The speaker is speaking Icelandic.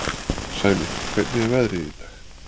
Sæmi, hvernig er veðrið í dag?